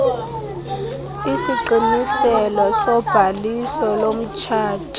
isiqiniselo sobhaliso lomtshato